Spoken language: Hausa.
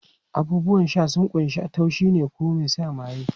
Abubuwan sha sun kunshi na taushi ko mai sa maye.